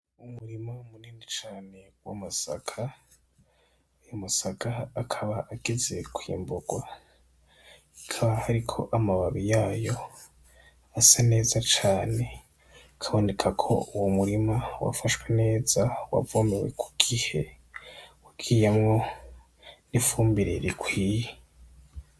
Umurima munini cane w'amasaka ayo masaka akaba ageze kwimburwa akaba hariko amababi yayo asa neza cane bikaboneka ko uwo murima wafashwe neza wavomewe kugihe wagiyemwo ifumbire rikwiye